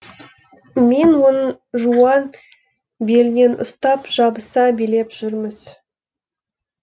мен оның жуан белінен ұстап жабыса билеп жүрміз